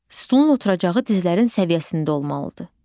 Stulun oturacağı dizlərin səviyyəsində olmalıdır.